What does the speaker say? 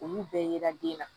Olu bɛɛ yera den na